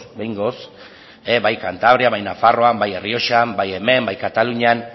behingoz bai kantabrian bai nafarroan bai errioxan bai hemen bai katalunian